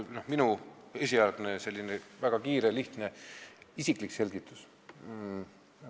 Minu esialgne, selline väga kiire ja lihtne isiklik selgitus.